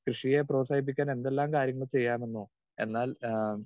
speaker 2 കൃഷിയെ പ്രോത്സാഹിപ്പിക്കാൻ എന്തെല്ലാം കാര്യങ്ങൾ ചെയ്യാമെന്നോ എന്നാൽ ആഹ്